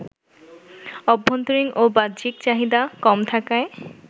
অভ্যন্তরীণ ও বাহ্যিক চাহিদা কম থাকায়